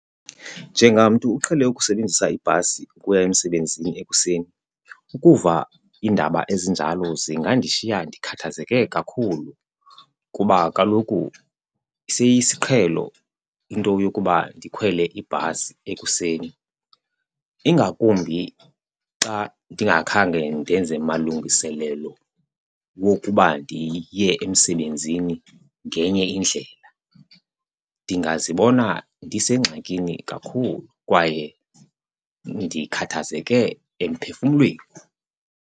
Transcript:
Njengamntu uqhele ukusebenzisa ibhasi ukuya emsebenzini ekuseni ukuva iindaba ezinjalo zingandishiya ndikhathazeke kakhulu kuba kaloku siyisiqhelo into yokuba ndikhwele ibhasi ekuseni, ingakumbi xa ndingakhange ndenze malungiselelo wokuba ndiye emsebenzini ngenye indlela. Ndingazibona ndisengxakini kakhulu kwaye ndikhathazeke emphefumlweni.